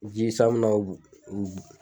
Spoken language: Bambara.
Ji san mi na